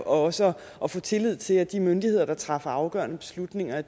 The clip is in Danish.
også at få tillid til at de myndigheder der træffer afgørende beslutninger